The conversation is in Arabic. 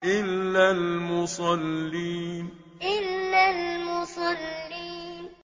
إِلَّا الْمُصَلِّينَ إِلَّا الْمُصَلِّينَ